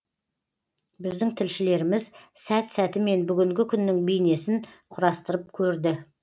біздің тілшілеріміз сәт сәтімен бүгінгі күннің бейнесін құрастырып көрді